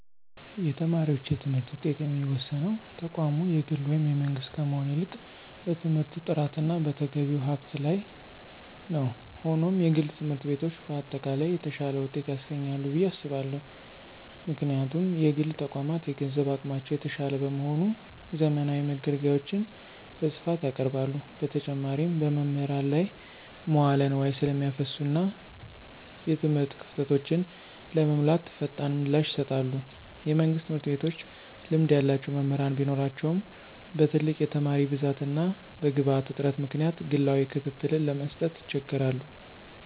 የተማሪዎች የትምህርት ውጤት የሚወሰነው ተቋሙ የግል ወይም የመንግሥት ከመሆን ይልቅ በትምህርቱ ጥራትና በተገቢው ሀብት ላይ ነው። ሆኖም፣ የግል ትምህርት ቤቶች በአጠቃላይ የተሻለ ውጤት ያስገኛሉ ብዬ አስባለሁ። ምክንያቱም: የግል ተቋማት የገንዘብ አቅማቸው የተሻለ በመሆኑ፣ ዘመናዊ መገልገያዎችን በስፋት ያቀርባሉ። በተጨማሪም፣ በመምህራን ላይ መዋለ ንዋይ ስለሚያፈሱና እና የትምህርት ክፍተቶችን ለመሙላት ፈጣን ምላሽ ይሰጣሉ። የመንግሥት ትምህርት ቤቶች ልምድ ያላቸው መምህራን ቢኖራቸውም፣ በትልቅ የተማሪ ብዛትና በግብዓት እጥረት ምክንያት ግላዊ ክትትልን ለመስጠት ይቸገራሉ።